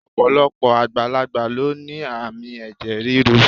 Ọ̀pọ̀lọpọ̀ àgbàlagbà ló ní àmì ẹ̀jẹ̀ ríru